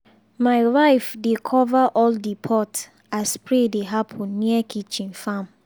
my wife dey cover all the pot as spray dey happen near kitchen farm.